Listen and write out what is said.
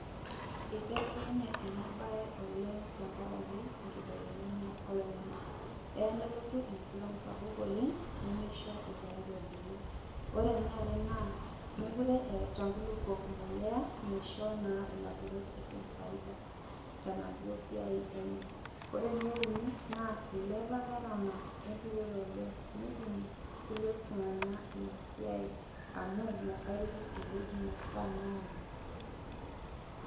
Ibelekenye